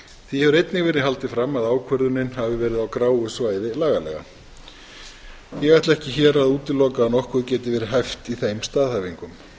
því hefur einnig verið haldið fram að ákvörðunin hafi verið á gráu svæði lagalega ég ætla ekki hér að útiloka að nokkuð geti verið hæft í þeim staðhæfingum